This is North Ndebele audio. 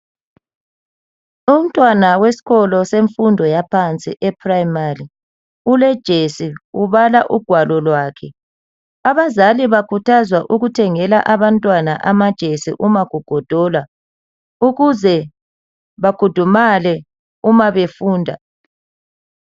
Umntwana wesikolo semfundo yaphansi eprimari ulejesi ubala ugwalo lwakhe. Abazali bakhuthazwa ukuthengela abantwana amajesi uma kugodola ukuze bakhudumale uma befunda.